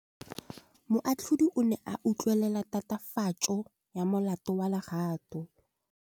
Moatlhodi o ne a utlwelela tatofatsô ya molato wa Lerato.